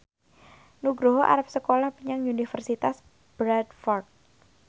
Nugroho arep sekolah menyang Universitas Bradford